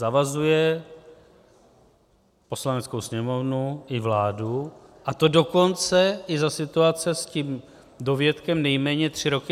Zavazuje Poslaneckou sněmovnu i vládu, a to dokonce i za situace s tím dovětkem "nejméně tři roky".